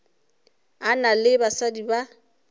a na le basadi ba